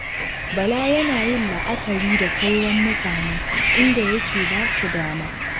Bala yana yin la'akari da sauran mutane, inda yake ba su dama.